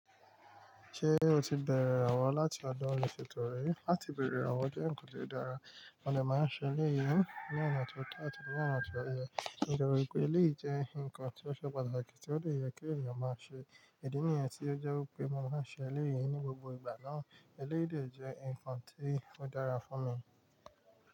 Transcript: Ṣé o ti bẹ̀rẹ̀ àwọn láti ọdún ọ̀sẹ̀ tó rí? Láti bẹ̀rẹ̀ àwọn jẹ́ nǹkan tó dára. Wọ́n lè máa ṣe eléyìí ní ọ̀nà tó dà àti ní ọ̀nà tó yẹ. Nítorí pé eléyìí jẹ́ nǹkan tí ó ṣe pàtàkì tí ó dẹ̀ ǹkan tí ó yẹ kí èèyàn máa ṣe. Ìdí nìyẹn tí ó jẹ́ pé mo máa ń ṣe eléyìí ní gbogbo ìgbà náà. Eléyìí dẹ̀ jẹ́ nǹkan tí ó dára fún mi.